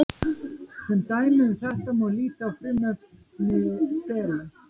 Sem dæmi um þetta má líta á frumefni selen.